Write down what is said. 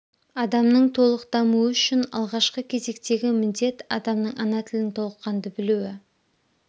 адамның толық дамуы үшін алғашқы кезектегі міндет адамның ана тілін толыққанды білуі